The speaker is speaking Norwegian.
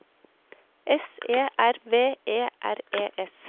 S E R V E R E S